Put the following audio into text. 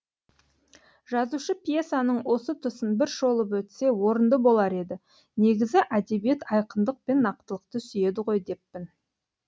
жазушы пьесаның осы тұсын бір шолып өтсе орынды болар еді негізі әдебиет айқындық пен нақтылықты сүйеді ғой деппін